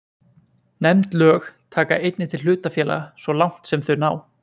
Nefnd lög taka einnig til hlutafélaga svo langt sem þau ná.